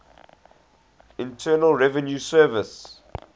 internal revenue service